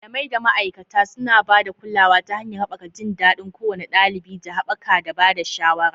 Malamai da ma'aikata suna ba da kulawa ta hanyar haɓaka jin daɗin kowane ɗalibi da haɓaka da ba da shawara.